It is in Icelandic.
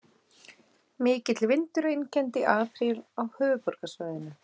Mikill vindur einkenndi apríl á höfuðborgarsvæðinu